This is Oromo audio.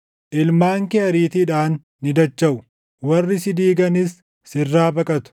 Ilmaan kee ariitiidhaan ni dachaʼu; warri si diiganis sirraa baqatu.